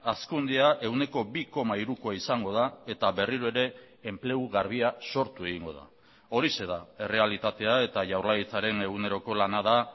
hazkundea ehuneko bi koma hirukoa izango da eta berriro ere enplegu garbia sortu egingo da horixe da errealitatea eta jaurlaritzaren eguneroko lana da